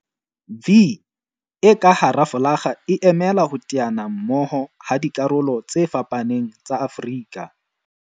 'V' e ka hara folakga e emela ho teana mmoho ha dikarolo tse fapaneng tsa Afrika